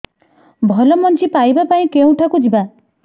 ଭଲ ମଞ୍ଜି ପାଇବା ପାଇଁ କେଉଁଠାକୁ ଯିବା